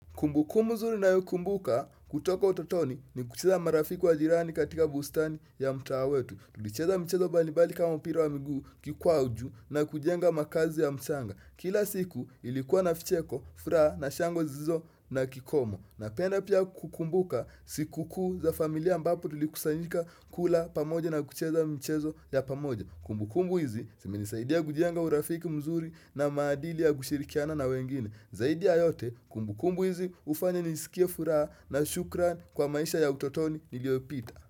Kumbu kumbu nzuri ninayokumbuka kutoka utotoni ni kucheza marafi wa jirani katika bustani ya mtaa wetu. Tulicheza mchezo mbalimbali kama mpira wa miguu kikwaju na kujenga makazi ya mchanga. Kila siku ilikuwa na vicheko, furaha na shangwe zisizo na kikomo. Ninapenda pia kukumbuka siku kuu za familia ambapo tulikusanyika kula pamoja na kucheza michezo ya pamoja. Kumbu kumbu hizi simeni saidia kujenga urafiki mzuri na maadili ya kushirikiana na wengine. Zaidi ya yote kumbu kumbu hizi hufanya nisikie furaha na shukran kwa maisha ya utotoni niliyopita.